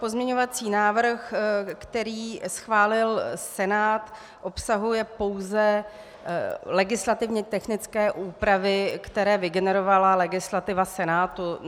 Pozměňovací návrh, který schválil Senát, obsahuje pouze legislativně technické úpravy, které vygenerovala legislativa Senátu.